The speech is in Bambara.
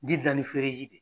Ji dilan ni feereji de